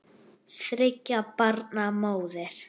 Þriggja barna móðir.